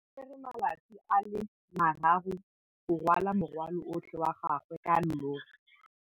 O tsere malatsi a le marraro go rwala morwalo otlhe wa gagwe ka llori.